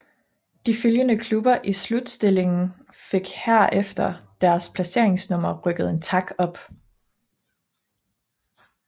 De følgende klubber i slutstillingen fik herefter deres placeringsnummer rykket en tak op